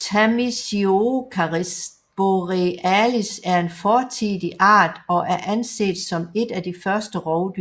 Tamisiocaris borealis er en fortidig art og er anset som et af de første rovdyr